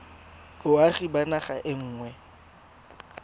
boagi ba naga e nngwe